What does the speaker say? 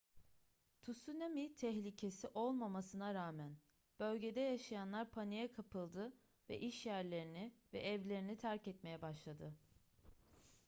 tsunami tehlikesi olmamasına rağmen bölgede yaşayanlar paniğe kapıldı ve işyerlerini ve evlerini terk etmeye başladı